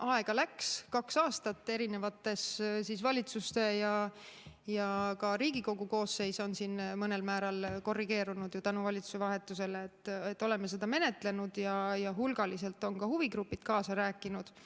Aega läks, kaks aastat erinevates valitsustes – ja ka Riigikogu koosseis on mõnel määral korrigeerunud ju tänu valitsuse vahetusele – oleme seda menetlenud ja hulgaliselt on ka huvigrupid kaasa rääkinud.